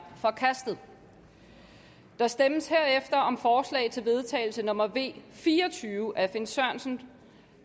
forkastet der stemmes herefter om forslag til vedtagelse nummer v fire og tyve af finn sørensen